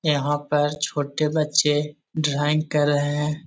यहाँ पर छोटे बच्चे ड्राइंग कर रहे हैं |